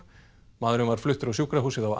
maðurinn var fluttur á sjúkrahúsið á